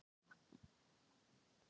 Hún er að yrkja, skrifa sögur og syngja.